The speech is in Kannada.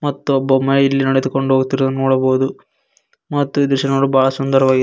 ಮತ್ತೊಬ್ಬ ಮಹಿಳೆ ನಡೆದುಕೊಂಡು ಹೋಗುತ್ತಿರುವುದನ್ನು ನೋಡಬಹುದು ಈ ದೃಶ್ಯ ನೋಡಲು ಬಾಳ ಸುಂದರವಾಗಿದೆ.